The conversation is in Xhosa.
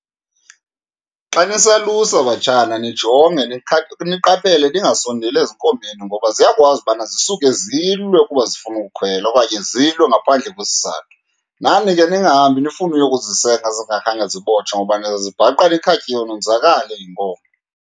Xa nisalusa batshana nijonge, niqaphele ningasondeli ezinkomeni ngoba ziyakwazi ubana zisuke zilwe ukuba zifuna ukhwela okanye zilwe ngaphandle kwesizathu. Nani ke ningahambi nifune uyokuzisenga zingakhange zibotshwe, ngoba nizazibhaqa nikhatyiwe nonzakale yinkomo.